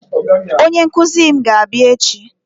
Onye nkụzi mụ ga-abịa echi